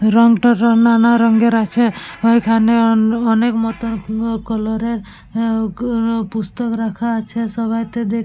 রং টা নানারঙের আছে ওইখানে অন অনেক মতন সুন্দর কালার এর পুস্তক রাখা আছে সবাইকে দেখতে।